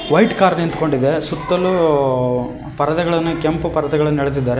White car ನಿಂತ್ಕೊಂಡಿದೆ ಸುತ್ತಲೂ ಪರದೆಗಳನ್ನು ಕೆಂಪು ಪರ್ದೆಗಳನ್ನು ಎಳೆದಿದ್ದಾರೆ.